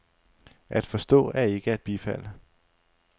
At forstå er ikke at bifalde.